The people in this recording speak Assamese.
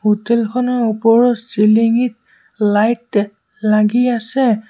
হোটেল খনৰ ওপৰৰ চিলিংঙিত লাইট লাগি আছে।